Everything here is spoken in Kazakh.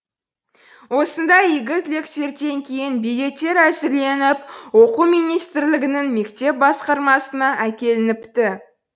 осындай игі тілектерден кейін билеттер әзірленіп оқу министрлігінің мектеп басқармасына әкелініпті